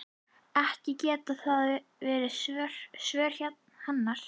Ekki geta það verið svör hennar.